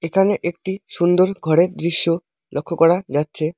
একানে একটি সুন্দর ঘরের দৃশ্য লক্ষ্য করা যাচ্ছে।